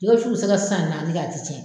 Jɛgɛ wufu be se ka san naani kɛ a ti cɛn